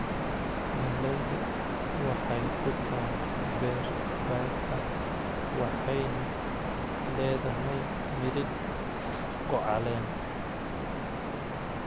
Gallaydu waxay ku taal beer baad ah waxayna leedahay miridhku caleen.